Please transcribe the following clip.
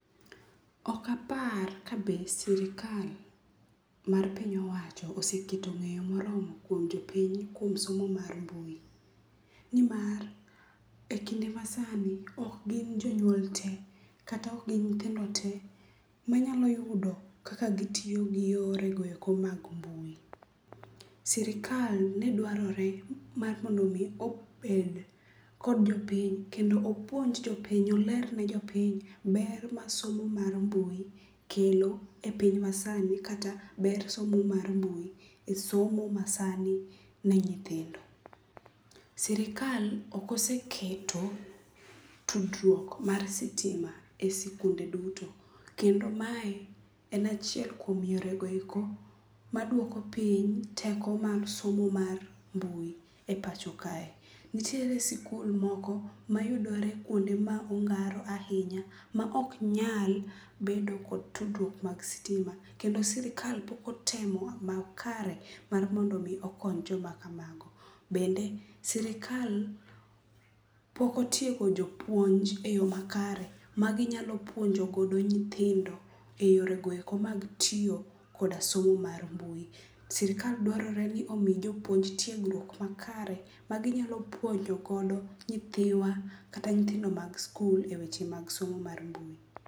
Okapar ka be sirikal mar piny owacho oseketo ng'eyo moromo kuom jopiny kuom somo mar mbui, nimar e kinde masani ok gin jonyuol te kata ok gin nyithindo te manyalo yudo kaka gitiyo gi yore go eko mag mbui. Sirikal ne dwarore mar mondo omi obed kod jopiny kendo opuonj jopiny oler ne jopiny ber ma somo mar mbui kelo e piny masani kata ber somo mar mbui e somo ma sani ne nyithindo. Sirikal ok oseketo tudruok mar sitima e sikunde duto, kendo mae en achiel kuom yore goeko maduoko piny teko mar somo mar mbui e pacho kae. Nitiere sikul moko mayudore kuonde ma ongaro ahinya ma ok nyal bedo kod tudruok mag sitima kendo sirikal pok otemo makare mar mondo omi okony joma kamago. Bende sirikal pok otiego jopuonj e yo makare maginyalo puonjo godo nyithindo e yoregoeko mag tiyo koda somo mar mbui. Sirikal dwarore ni mondo omi jopuonj tiegruok makare maginyalo puonjogodo nyithiwa kata nyithindo mag skul e weche mag somo mar mbui.